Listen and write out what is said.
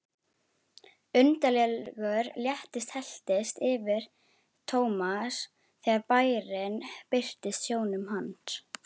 Undarlegur léttir helltist yfir Thomas þegar bærinn birtist sjónum hans.